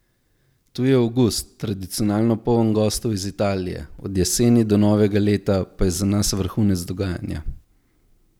Tu je avgust, tradicionalno poln gostov iz Italije, od jeseni do novega leta pa je za nas vrhunec dogajanja.